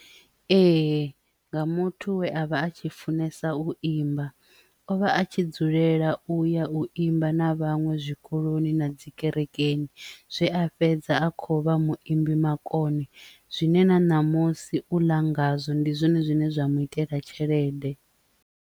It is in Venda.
Ee, nga muthu we a vha a tshi funesa u imba o vha a tshi dzulela u ya u imba na vhaṅwe zwikoloni na dzi kerekeni zwe a fhedza a kho vha muimbi makone zwine na ṋamusi u ḽa ngazwo ndi zwone zwine zwa mu itela tshelede.